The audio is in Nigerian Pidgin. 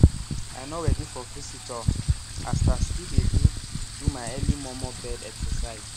i nor readi for visitor as still dey do do my early momo bed exercise